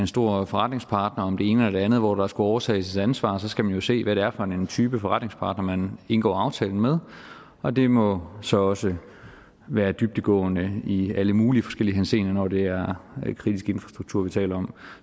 stor forretningspartner om det ene eller det andet hvor der skulle overtages et ansvar så skal man jo se hvad det er for en type forretningspartner man indgår aftale med og det må så også være dybdegående i alle mulige forskellige henseender når det er kritisk infrastruktur vi taler om